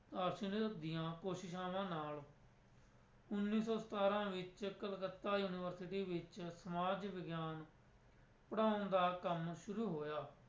ਦੀਆਂ ਕੋਸ਼ਿਸ਼ਆਵਾਂ ਨਾਲ ਉੱਨੀ ਸੋ ਸਤਾਰਾਂ ਵਿੱਚ ਕਲਕੱਤਾ university ਵਿੱਚ ਸਮਾਜ ਵਿਗਿਆਨ ਪੜ੍ਹਾਉਣ ਦਾ ਕੰਮ ਸ਼ੁਰੂ ਹੋਇਆ।